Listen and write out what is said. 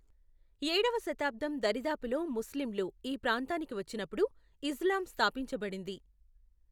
ఏడవ శతాబ్దం దరిదాపులో ముస్లింలు ఈ ప్రాంతానికి వచ్చినప్పుడు ఇస్లాం స్థాపించబడింది.